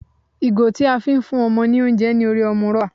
Ìgò tí a fi ń fún ọmọ ní oúnjẹ ní orí ọmú rọ́bà.